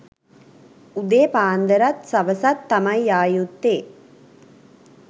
උදේ පාන්දරත් සවසත් තමයි යා යුත්තේ.